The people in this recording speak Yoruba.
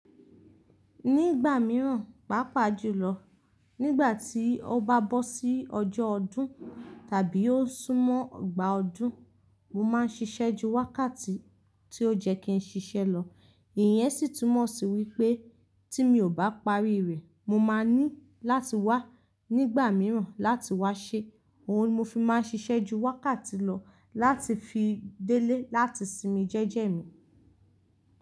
Nígbà mìíràn, pàápàá jùlọ nígbà tí ó bá bọ́ sí ọjọ́ ọdún tàbí ó súnmọ́ ìgbà ọdún, mo máa ń ṣiṣẹ́ ju wákàtí tí ó jẹ́ kí n ṣiṣẹ́ lọ. Ìyẹn sì túmọ̀ sí wípé tí mi ò bá parí rẹ̀, mo máa ní láti wá nígbà mìíràn láti wá ṣe. Òun ni mo fi máa ń ṣiṣẹ́ ju wákàtí lọ láti fi délé láti sinmi jẹ́jẹ̀ mi.